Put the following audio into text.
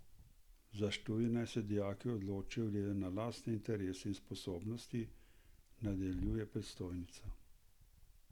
Za študij naj se dijaki odločijo glede na lastne interese in sposobnosti, nadaljuje predstojnica.